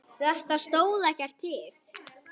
Þetta stóð ekkert til.